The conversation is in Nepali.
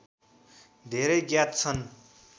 धेरै ज्ञात छन्